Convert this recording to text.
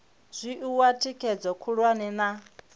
zwi oa thikhedzo khulwane na